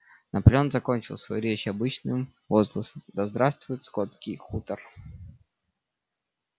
наполеон закончил свою речь обычным возгласом да здравствует скотский хутор